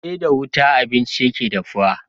Sai da wuta abinci yake dahuwa